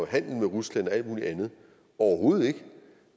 handle med rusland og alt mulig andet overhovedet ikke